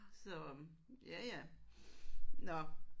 Så ja ja. Nåh